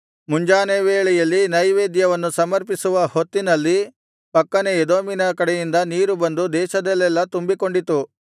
ಮುಂಜಾನೆ ವೇಳೆಯಲ್ಲಿ ನೈವೇದ್ಯವನ್ನು ಸಮರ್ಪಿಸುವ ಹೊತ್ತಿನಲ್ಲಿ ಪಕ್ಕನೆ ಎದೋಮಿನ ಕಡೆಯಿಂದ ನೀರು ಬಂದು ದೇಶದಲ್ಲೆಲ್ಲಾ ತುಂಬಿಕೊಂಡಿತು